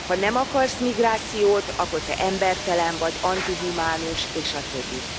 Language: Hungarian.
Ha nem akarsz migrációt, akkor te embertelen vagy, antihumánus és a többi.